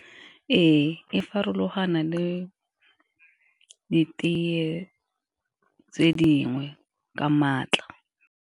Re, farologana le ditee tse dingwe ka maatla.